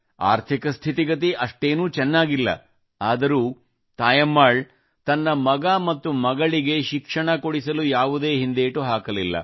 ಆರ್ಥಿಕ ಸ್ಥಿತಿಗತಿ ಅಷ್ಟೇನೂ ಚೆನ್ನಾಗಿಲ್ಲ ಆದರೂ ತಾಯಮ್ಮಾಳ್ ತನ್ನ ಮಗ ಮತ್ತು ಮಗಳಿಗೆ ಶಿಕ್ಷಣ ಕೊಡಿಸಲು ಯಾವುದೇ ಹಿಂದೇಟು ಹಾಕಲಿಲ್ಲ